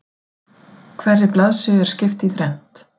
Hverri blaðsíðu er skipt í þrennt